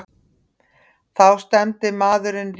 Þá stefndi maðurinn ríkinu.